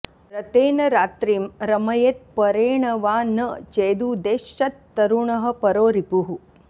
रतेन रात्रिं रमयेत् परेण वा न चेदुदेष्यत्तरुणः परो रिपुः